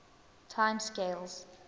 time scales